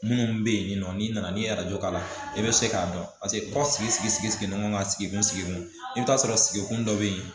Minnu bɛ yen nɔ n'i nana ni arajo k'a la i bɛ se k'a dɔn paseke kɔ sigi sigi sigi sigi sigi ɲɔgɔn ka sigi sigi kun i bi taa sɔrɔ sigi kun dɔ be yen